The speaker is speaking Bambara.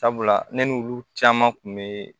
Sabula ne n'olu caman kun be